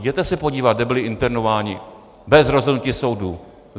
Jděte se podívat, kde byli internováni bez rozhodnutí soudu!